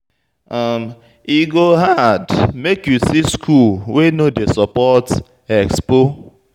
E go hard make you see school wey no dey support expo.